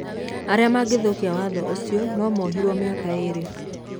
Arĩa mangĩthũkia watho ũcio no mooherũo mĩaka ĩĩrĩ.